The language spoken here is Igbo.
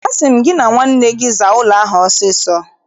Asị m gị na nwanne gị zaa ụlọ ahụ ọsọ ọsọ!